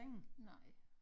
Nej